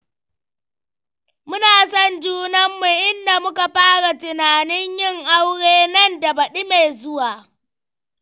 Muna son junanmu, inda muka fara tunanin yin aure nan da baɗi mai zuwa.